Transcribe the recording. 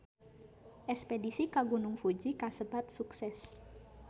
Espedisi ka Gunung Fuji kasebat sukses